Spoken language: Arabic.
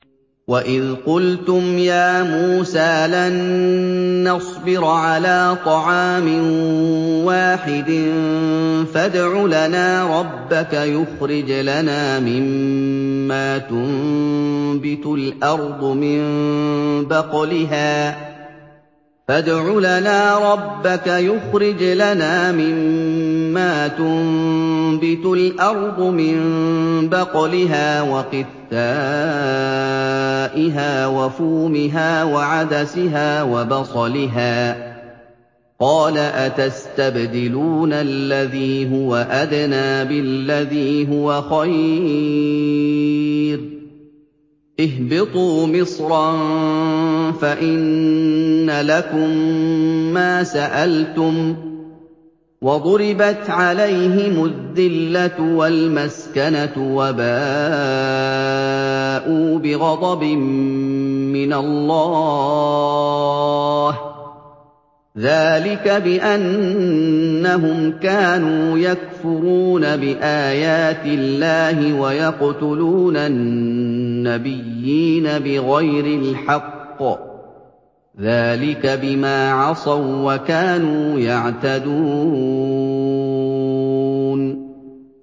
وَإِذْ قُلْتُمْ يَا مُوسَىٰ لَن نَّصْبِرَ عَلَىٰ طَعَامٍ وَاحِدٍ فَادْعُ لَنَا رَبَّكَ يُخْرِجْ لَنَا مِمَّا تُنبِتُ الْأَرْضُ مِن بَقْلِهَا وَقِثَّائِهَا وَفُومِهَا وَعَدَسِهَا وَبَصَلِهَا ۖ قَالَ أَتَسْتَبْدِلُونَ الَّذِي هُوَ أَدْنَىٰ بِالَّذِي هُوَ خَيْرٌ ۚ اهْبِطُوا مِصْرًا فَإِنَّ لَكُم مَّا سَأَلْتُمْ ۗ وَضُرِبَتْ عَلَيْهِمُ الذِّلَّةُ وَالْمَسْكَنَةُ وَبَاءُوا بِغَضَبٍ مِّنَ اللَّهِ ۗ ذَٰلِكَ بِأَنَّهُمْ كَانُوا يَكْفُرُونَ بِآيَاتِ اللَّهِ وَيَقْتُلُونَ النَّبِيِّينَ بِغَيْرِ الْحَقِّ ۗ ذَٰلِكَ بِمَا عَصَوا وَّكَانُوا يَعْتَدُونَ